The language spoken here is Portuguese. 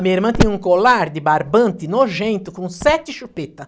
A minha irmã tinha um colar de barbante nojento, com sete chupeta.